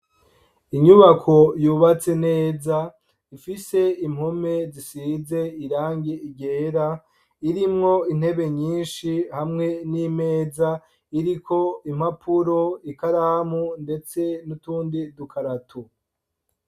Inyubako yubatse neza ifise impome zisize irangi ryera, irimwo intebe nyinshi hamwe n'imeza iriko impapuro, ikaramu ndetse n'utundi dukarato.